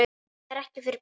Þetta er ekki fyrir börn.